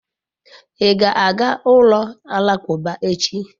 I ga-aga ulo alakuba echi?